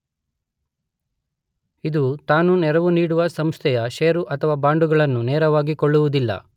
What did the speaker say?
ಇದು ತಾನು ನೆರವು ನೀಡುವ ಸಂಸ್ಥೆಯ ಷೇರು ಅಥವಾ ಬಾಂಡುಗಳನ್ನು ನೇರವಾಗಿ ಕೊಳ್ಳುವುದಿಲ್ಲ.